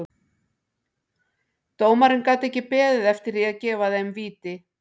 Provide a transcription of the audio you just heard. Dómarinn gat ekki beðið eftir því að gefa þeim víti.